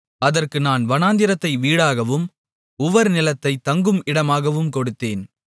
அதற்கு நான் வனாந்திரத்தை வீடாகவும் உவர்நிலத்தை தங்கும் இடமாகவும் கொடுத்தேன்